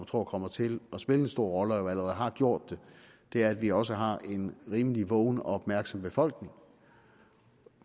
tror kommer til at spille en stor rolle og allerede har gjort det er at vi også har en rimelig vågen og opmærksom befolkning